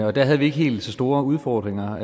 og der havde vi ikke helt så store udfordringer